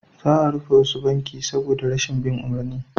Za a rufe wasu banki saboda rashin bin umarni